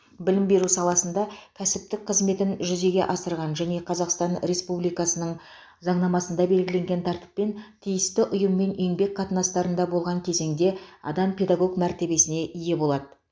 білім беру саласында кәсіптік қызметін жүзеге асырған және қазақстан республикасының заңнамасында белгіленген тәртіппен тиісті ұйыммен еңбек қатынастарында болған кезеңде адам педагог мәртебесіне ие болады